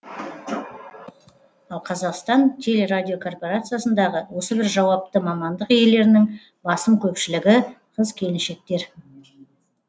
ал қазақстан телерадиокорпорациясындағы осы бір жауапты мамандық иелерінің басым көпшілігі қыз келіншектер